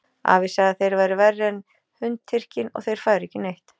Afi sagði að þeir væru verri en Hundtyrkinn og þeir færu ekki neitt.